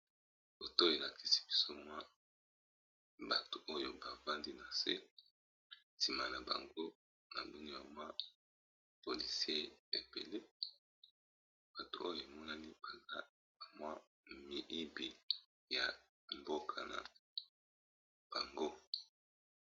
Foto elakisi biso mwa bato oyo babandi na nse nsima na bango na mbino ya mwa polysier epele bato oyo emonani baza bamwa miibi ya mboka na bango.